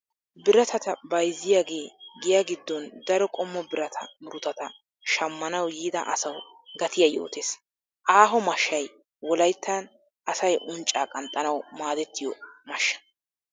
Biratatta bayzziyaage giya giddon daro qommo birata murutatta shamannawu yiida asawu gatiyaa yootes. Aaho mashshay wolayttan asay uncca qanxxanawu maadettiyo mashshsa.